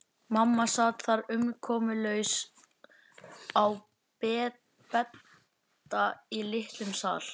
Mamma sat þar umkomulaus á bedda í litlum sal.